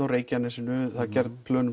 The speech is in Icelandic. á Reykjanesinu það eru gerð plön